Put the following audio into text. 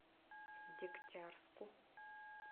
дегтярску